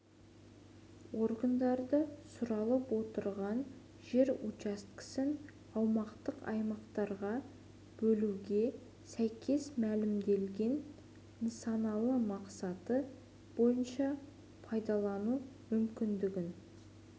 органдары сұралып отырған жер учаскесін аумақтық аймақтарға бөлуге сәйкес мәлімделген нысаналы мақсаты бойынша пайдалану мүмкіндігін